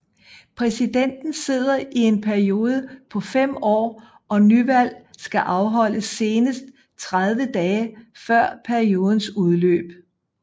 Præsidenten sidder i en periode på 5 år og nyvalg skal afholdes senest 30 dage før periodens udløb